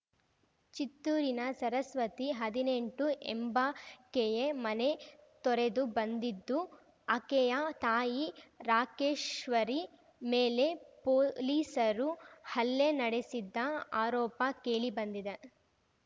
ಚಿತ್ತೂರಿನ ಸರಸ್ವತಿ ಹದಿನೆಂಟು ಎಂಬಾಕೆಯೇ ಮನೆ ತೊರೆದು ಬಂದಿದ್ದು ಆಕೆಯ ತಾಯಿ ರಾಕೇಶ್ವರಿ ಮೇಲೆ ಪೊಲೀಸರು ಹಲ್ಲೆ ನಡೆಸಿದ್ದ ಆರೋಪ ಕೇಳಿ ಬಂದಿದೆ